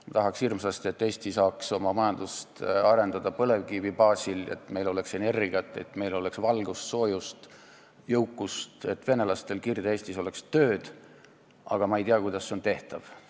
Ma tahaks hirmsasti, et Eesti saaks oma majandust arendada põlevkivi baasil, et meil oleks energiat, oleks valgust, soojust, jõukust, et venelastel Kirde-Eestis oleks tööd, aga ma ei tea, kuidas see on tehtav.